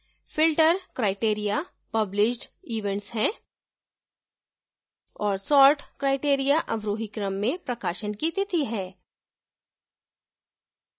filter criteria published events है और sort criteria अवरोही क्रम में प्रकाशन की तिथि है